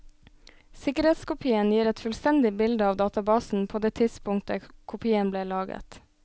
Sikkerhetskopien gir et fullstendig bilde av databasen pÂ det tidspunktet kopien ble laget.